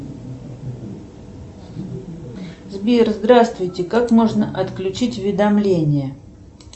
сбер здравствуйте как можно отключить уведомления